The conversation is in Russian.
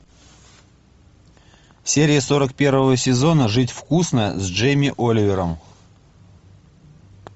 серия сорок первого сезона жить вкусно с джейми оливером